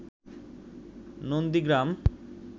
Nandigram